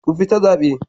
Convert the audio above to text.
Ku fita zabe.